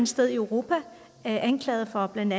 sted i europa anklaget for blandt